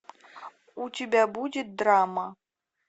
у тебя будет драма